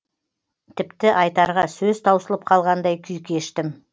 тіпті айтарға сөз таусылып қалғандай күй кештім